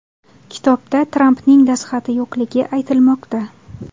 Kitobda Trampning dastxati yo‘qligi aytilmoqda.